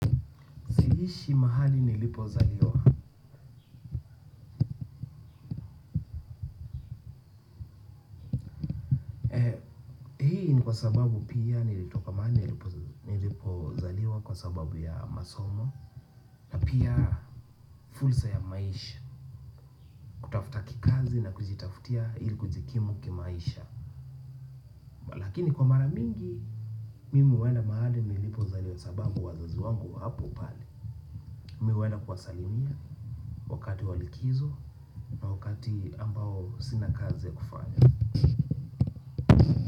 Siishi mahali nilipozaliwa. Hii kwa sababu pia nilitoka mahali nilipozaliwa kwa sababu ya masomo. Pia fursa ya maisha. Kutafuta kikazi na kujitafutia ili kujikimu kimaisha. Lakini kwa mara mingi, mimi huenda mahali nilipozaliwa sababu wazazi wangu wapo pale. Mimi huenda kuwasalimia wakati wa likizo na wakati ambao sina kazi ya kufanya.